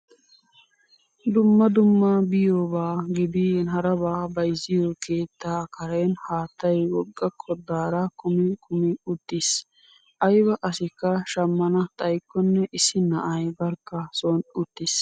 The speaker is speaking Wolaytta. Dumma dumma biyoobaa gidin harabaa bayzziyoo keettaa karen haattayi wogga koddaara kumi kumi utis. Ayibaa asikka shammana xayikkonne issi na'ayi barkka son uttis.